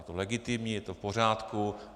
Je to legitimní, je to v pořádku.